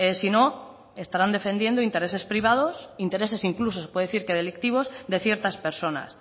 sino estarán defendiendo intereses privados intereses incluso se puede decir que delictivos de ciertas personas